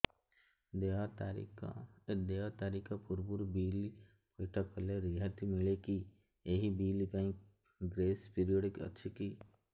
ଦେୟ ତାରିଖ ପୂର୍ବରୁ ବିଲ୍ ପୈଠ କଲେ ରିହାତି ମିଲେକି ଏହି ବିଲ୍ ପାଇଁ ଗ୍ରେସ୍ ପିରିୟଡ଼ କିଛି ଅଛିକି